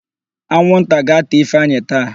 Anwụnta ga-átà Ifeanyị taa.